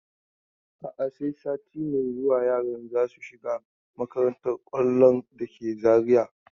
A'a, sai sati mai zuwa yaran za su shiga makantar kwallon da ke Zariya.